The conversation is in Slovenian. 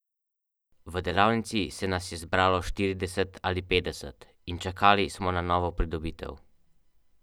Po zvrsteh prevladuje izposoja otroških knjig in leposlovja za odrasle.